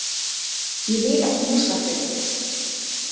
Ég vil ekki missa þig